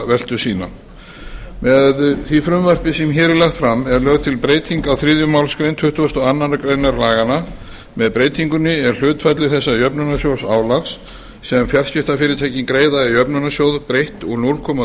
veltu sína með því frumvarpi sem hér er lagt fram er lögð til breyting á þriðju málsgrein tuttugustu og aðra grein laganna með breytingunni er hlutfalli þessa jöfnunarsjóðsálags sem fjarskiptafyrirtækin greiða í jöfnunarsjóð breytt úr núll komma